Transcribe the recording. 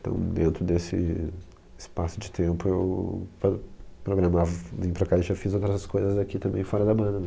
Então dentro desse espaço de tempo eu prog, programava, vim para cá e já fiz outras coisas aqui também fora da banda.